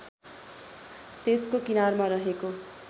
त्यसको किनारमा रहेको